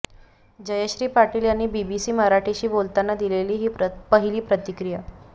जयश्री पाटील यांनी बीबीसी मराठीशी बोलताना दिलेली ही पहिली प्रतिक्रिया